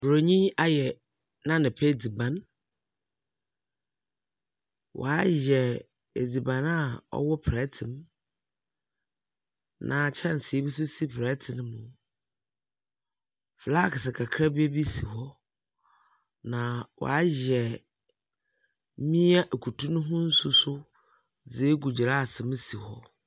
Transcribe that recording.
Borɔnyi ayɛ n’anapa edziban, ɔayɛ edziban a ɔwɔ prɛtse mu, na kyɛnse bi nso si prɛtse mu. Flask kakraba bi si hɔ, na ɔayɛ noa ekutu no ho nsu so dze agu gyeraase mu si hɔ.